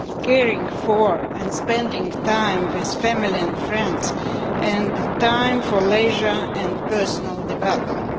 caring for and spending time with family and friends and time for leisure and personal development.